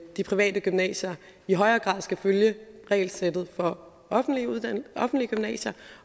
de private gymnasier i højere grad skal følge regelsættet for offentlige gymnasier